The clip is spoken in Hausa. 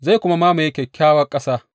Zai kuma mamaye Kyakkyawa Ƙasa.